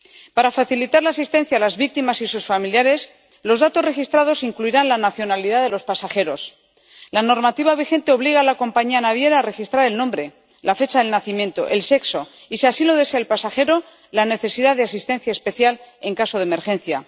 Para facilitar la asistencia a las víctimas y sus familiares, los datos registrados incluirán la nacionalidad de los pasajeros. La normativa vigente obliga a la compañía naviera a registrar el nombre, la fecha de nacimiento, el sexo y, si así lo desea el pasajero, la necesidad de asistencia especial en caso de emergencia.